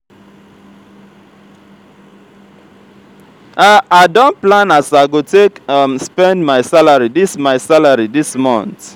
i don plan as i go take um spend my salary dis my salary dis month.